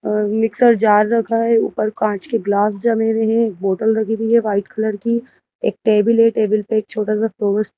अ mixer jar रखा है ऊपर कांच के ग्लास जमे हुए हैं एक बोटल रखी हुई है वाइट कलर की एक टेबल है टेबल पर एक छोटा सा फ्लोर्स--